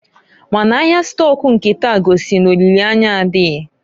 Ma n'ahịa stọk nke taa gosiri n'olile anya adịghị.